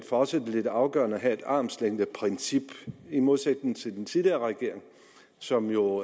for os er lidt afgørende at have et armslængdeprincip i modsætning til den tidligere regering som jo